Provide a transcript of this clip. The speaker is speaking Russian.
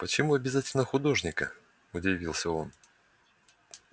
почему обязательно художника удивился он